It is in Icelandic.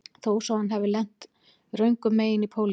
Þó svo að hann hafi lent röngum megin í pólitík